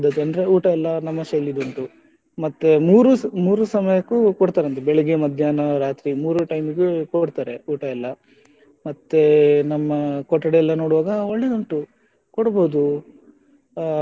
ಅಂದ್ರೆ ಊಟ ಎಲ್ಲ ನಮ್ಮ ಶೈಲಿಯಿದ್ದು ಉಂಟು ಮತ್ತೆ ಮೂರು ಮೂರು ಸಮಯಕ್ಕೂ ಕೊಡ್ತಾರಂತೆ ಬೆಳಿಗ್ಗೆ ಮಧ್ಯಾಹ್ನ ರಾತ್ರಿ ಮೂರು time ಗೂ ಕೊಡ್ತಾರೆ ಊಟ ಎಲ್ಲ ಮತ್ತೆ ನಮ್ಮ ಕೊಠಡಿ ಎಲ್ಲ ನೋಡುವಾಗ ಒಳ್ಳೆದುಂಟು ಕೊಡ್ಬೋದು.